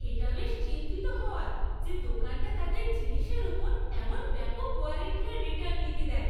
এটা বেশ নিশ্চিন্ত হওয়ার যে দোকানটা তাদের জিনিসের উপর এমন ব্যাপক ওয়ারেন্টি আর রিটার্ণ নীতি দেয়।